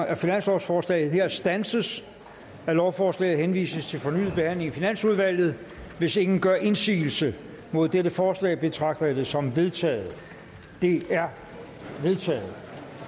af finanslovsforslaget her standses og at lovforslaget henvises til fornyet behandling i finansudvalget hvis ingen gør indsigelse mod dette forslag betragter jeg det som vedtaget det er vedtaget